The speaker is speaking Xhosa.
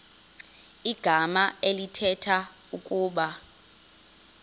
igama elithetha ukuba